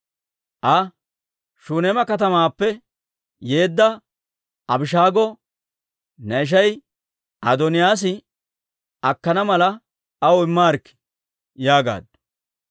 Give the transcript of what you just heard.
Aa, «Shuneema katamaappe yeedda Abishaago ne ishay Adooniyaas akkana mala aw immaarikkii» yaagaaddu.